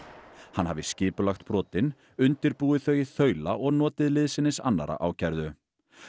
hann hafi skipulagt brotin undirbúið þau í þaula og notið liðsinnis annarra ákærðu